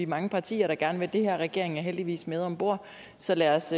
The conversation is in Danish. mange partier der gerne vil det her og regeringen er heldigvis med om bord så lad os